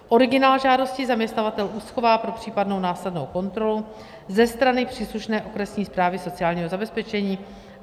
Originál žádosti zaměstnavatel uschová pro případnou následnou kontrolu ze strany příslušné okresní správy sociálního zabezpečení.